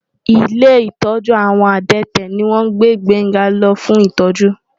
Ilé ìtọ́jú àwọn adẹ́tẹ̀ ni wọ́n gbé Gbénga lọ fún ìtọ́jú.